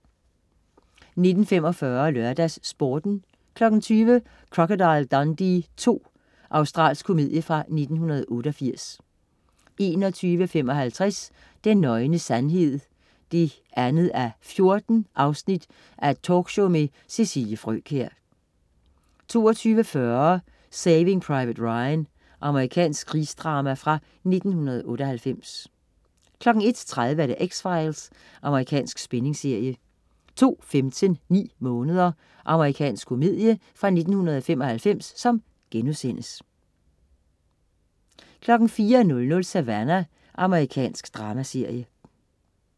19.45 LørdagsSporten 20.00 Crocodile Dundee II. Australsk komedie fra 1988 21.55 Den nøgne sandhed 2:14 talkshow med Cecilie Frøkjær 22.40 Saving Private Ryan. Amerikansk krigsdrama fra 1998 01.30 X-Files. Amerikansk spændingsserie 02.15 Ni måneder. Amerikansk komedie fra 1995* 04.00 Savannah. Amerikansk dramaserie